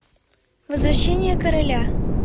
возвращение короля